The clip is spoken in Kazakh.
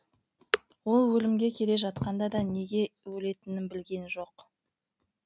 ол өлімге келе жатқанда да неге өлетінін білген жоқ